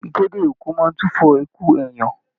Ìkéde òkú máa n tufọ ikú èèyàn.